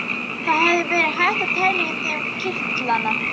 Það hefði verið hægt að telja í þeim kirtlana.